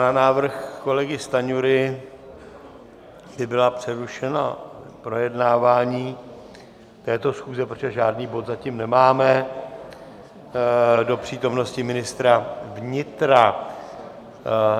Na návrh kolegy Stanjury, aby bylo přerušeno projednávání této schůze, protože žádný bod zatím nemáme, do přítomnosti ministra vnitra.